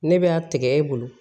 Ne bɛ a tigɛ e bolo